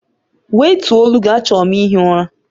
Wètuọ̀ olu gị, achọrọ m ihi ụra!